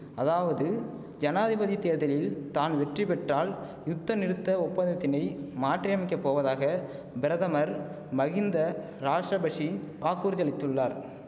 அதாவது ஜனாதிபதி தேர்தலில் தான் வெற்றி பெற்றால் யுத்த நிறுத்த ஒப்பந்தத்தினை மாற்றியமைக்கப் போவதாக பிரதமர் மகிந்த ராஷபஷி வாக்குறுதி அளித்துள்ளார்